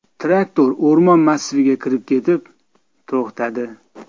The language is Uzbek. Traktor o‘rmon massiviga kirib ketib, to‘xtadi.